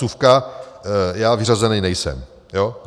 Vsuvka - já vyřazený nejsem.